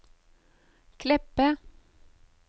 Kleppe